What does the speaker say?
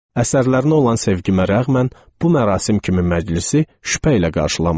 Əsərlərinə olan sevgimə rəğmən, bu mərasim kimi məclisi şübhə ilə qarşılamışdım.